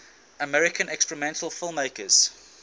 american experimental filmmakers